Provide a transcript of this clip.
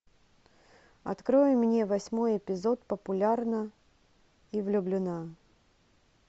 открой мне восьмой эпизод популярна и влюблена